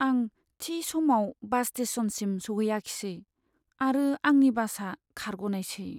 आं थि समाव बास स्टेशनसिम सौहैयाखिसै आरो आंनि बासआ खारग'नायसै।